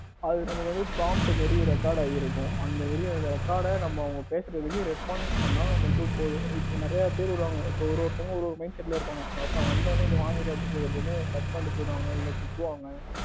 அது வந்து promit மாதிரி record ஆயிருக்கும் அந்த ஒரு record நம்ம அவங்க பேசுறதுக்கு response பண்ண மட்டும் போதும். இப்ப நிறைய பேர் இப்போ ஒரு ஒருத்தவங்க ஒரு ஒரு mind set இருப்பாங்க அதுக்கு நான் வந்த உடனே இதை வாங்குறேன் அப்படின்னு சொன்ன உடனே cut பண்ணிட்டு போயிடுவாங்க, இல்ல திட்டி விடுவாங்க.